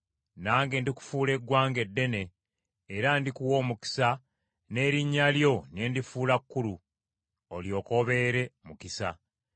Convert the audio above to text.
“Nange ndikufuula eggwanga eddene, era ndikuwa omukisa, n’erinnya lyo ne ndifuula kkulu, olyoke obeere mukisa.